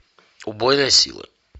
убойная сила